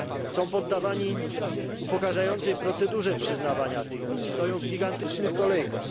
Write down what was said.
Są poddawani upokarzającej procedurze przyznawania tych wiz, stoją w gigantycznych kolejkach.